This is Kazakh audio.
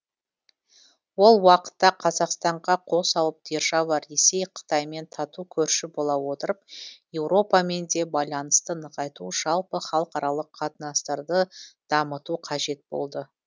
ол уақытта қазақстанға қос алып держава ресей қытаймен тату көрші бола отырып еуропамен де байланысты нығайту жалпы халықаралық қатынастарды дамыту қажет болды